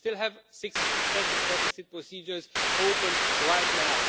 We still have six excessive deficit procedures open right now.